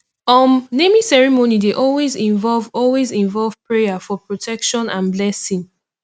um naming ceremony dey always involve always involve prayer for protection and blessing